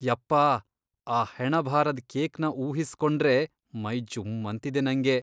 ಯಪ್ಪಾ, ಆ ಹೆಣಭಾರದ್ ಕೇಕ್ನ ಊಹಿಸ್ಕೊಂಡ್ರೇ ಮೈ ಜುಮ್ಮಂತಿದೆ ನಂಗೆ.